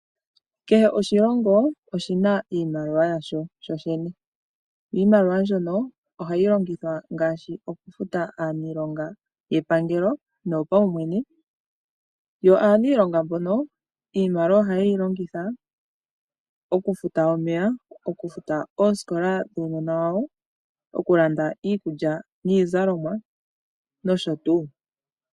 Kehe oshilongo oshi na iimaliwa yasho shoshene. Iimaliwa mbyono ohayi longithwa ngaashi okufuta aaniilonga yepangelo noyopaumwene. Aaniilonga mbono iimaliwa ohaye yi longitha okufuta omeya, okufuta oosikola dhuunona wawo, okulanda iikulya niizalomwa nosho tuu.